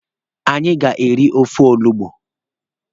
Anyị ga-aga iri ofe olugbu.